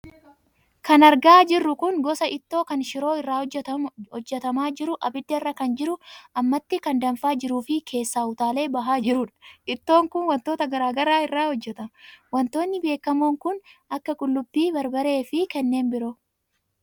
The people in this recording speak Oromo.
Kan argaa jirru kun gosa ittoo kan shiroo irraa hojjatamaa jiru abiddarra kan jiru ammatti kan danfaa jiruu fi keessaa utaalee bahaa jirudha. Ittoon kun wantoota garaagaraa irraa hojjatama. Wantoonni beekamoon kan akka qullubbii, barbaree fi kanneen biroo.